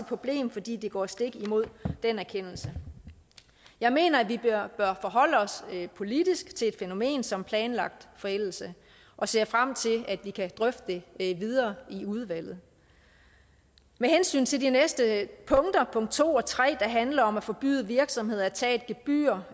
problem fordi det går stik imod den erkendelse jeg mener at vi bør forholde os politisk til et fænomen som planlagt forældelse og ser frem til at vi kan drøfte det videre i udvalget med hensyn til de næste punkter punkt to og tre der handler om at forbyde virksomheder at tage et gebyr